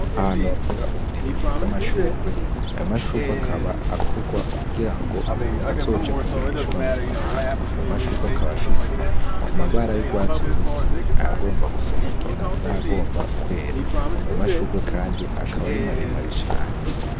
Ahantu hakora uburimyi bw'amashurwe aya mashurwe akaba akorwa kugira ngo azoje kugurishwa mu mahanga aya mashurwe akaba afise amabara y'urwatsi rubisi ayagomba gusamaugina n'agomba kwera aya mashurwe, kandi akaba arimaremare cane.